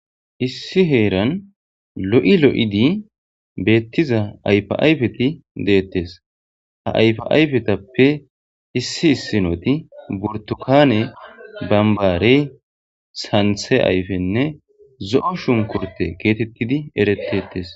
issi heeran lo'i lo'idi beettiza ayfiayfeti deettes ha ayfaayfetappe issi issinoti burtukane bambaarey santhe ayfenne zo'o shunkurte geetettidi erettettes